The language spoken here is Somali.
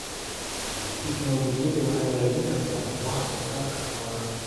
Tiknoolajiyadu waxay hagaajin kartaa wax soo saarka xoolaha.